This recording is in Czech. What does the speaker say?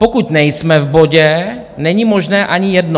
Pokud nejsme v bodě, není možné ani jedno.